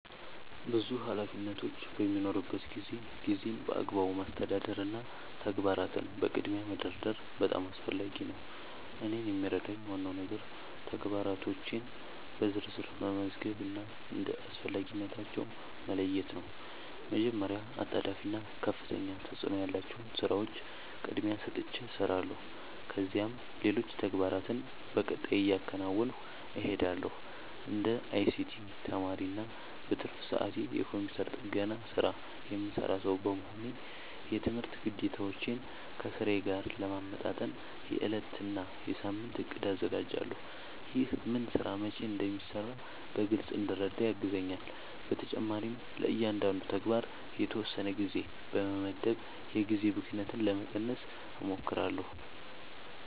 ብዙ ኃላፊነቶች በሚኖሩበት ጊዜ ጊዜን በአግባቡ ማስተዳደር እና ተግባራትን በቅድሚያ መደርደር በጣም አስፈላጊ ነው። እኔን የሚረዳኝ ዋናው ነገር ተግባራቶቼን በዝርዝር መመዝገብ እና እንደ አስፈላጊነታቸው መለየት ነው። መጀመሪያ አጣዳፊ እና ከፍተኛ ተፅእኖ ያላቸውን ሥራዎች ቅድሚያ ሰጥቼ እሰራለሁ፣ ከዚያም ሌሎች ተግባራትን በቀጣይ እያከናወንሁ እሄዳለሁ። እንደ አይሲቲ ተማሪ እና በትርፍ ሰዓቴ የኮምፒውተር ጥገና ሥራ የምሠራ ሰው በመሆኔ፣ የትምህርት ግዴታዎቼን ከሥራዬ ጋር ለማመጣጠን የዕለት እና የሳምንት እቅድ አዘጋጃለሁ። ይህ ምን ሥራ መቼ እንደሚሠራ በግልጽ እንድረዳ ያግዘኛል። በተጨማሪም ለእያንዳንዱ ተግባር የተወሰነ ጊዜ በመመደብ የጊዜ ብክነትን ለመቀነስ እሞክራለሁ።